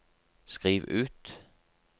skriv ut